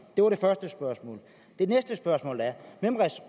det var det første spørgsmål det næste spørgsmål er hvem